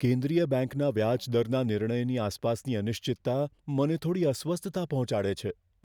કેન્દ્રીય બેંકના વ્યાજ દરના નિર્ણયની આસપાસની અનિશ્ચિતતા મને થોડી અસ્વસ્થતા પહોંચાડે છે.